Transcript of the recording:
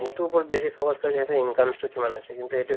সেইটো উপৰত বেচি focus সিহতৰ income তো কিমান হৈছে কিন্তু